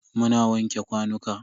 Muna wanke kwanuka.